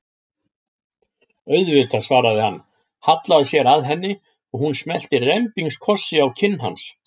Auðvitað, svaraði hann, hallaði sér að henni og hún smellti rembingskossi á kinn hans.